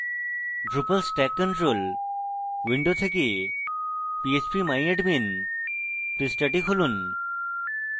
drupal stack control window থেকে phpmyadmin পৃষ্ঠাটি খুলুন